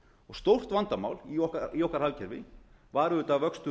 stórt vandamál í okkar hagkerfi var auðvitað vöxtur